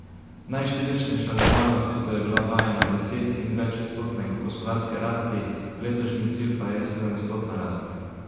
Najštevilčnejša država na svetu je bila vajena deset in več odstotne gospodarske rasti, letošnji cilj pa je sedemodstotna rast.